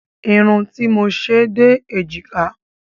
Irun tí mo ṣe dé èjìká